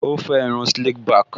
Ó fẹ́ irun slick back